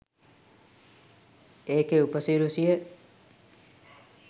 ඒකේ ‍උ‍ප‍සි‍රැ‍සි‍ය